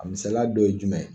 A misaliya dɔ ye jumɛn ye?